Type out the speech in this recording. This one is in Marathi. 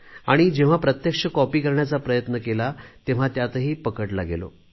आणि जेव्हा प्रत्यक्ष कॉपी करण्याचा प्रयत्न केला तेव्हा त्यातही पकडला गेलो